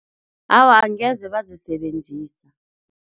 Awa, angeze bazisebenzisa.